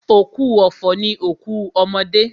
Òkú ọ̀fọ̀ ni òkú ọmọdé.